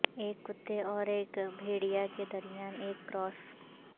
ایک کتے اور ایک بھیڑیا کے درمیان ایک کراس